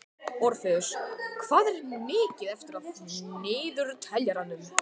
Orfeus, hvað er mikið eftir af niðurteljaranum?